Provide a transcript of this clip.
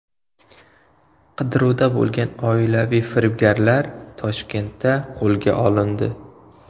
Qidiruvda bo‘lgan oilaviy firibgarlar Toshkentda qo‘lga olindi.